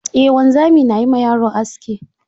Eh wanzami na yi ma yaro aski.